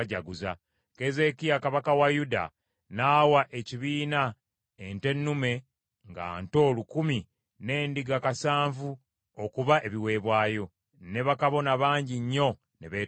Keezeekiya kabaka wa Yuda n’awa ekibiina ente ennume nga nto lukumi n’endiga kasanvu okuba ebiweebwayo, ne bakabona bangi nnyo ne beetukuza.